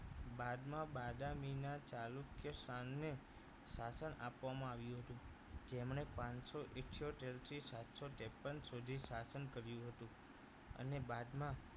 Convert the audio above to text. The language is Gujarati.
બાદમાં બાદામીના ચાલુક્ય શાનને શાસન આપવામાં આવ્યું હતું જેમણે પાંચસો ઈઠોતેર થી સાતસો ત્રેપન સુધી શાસન કર્યું હતું અને બાદમાં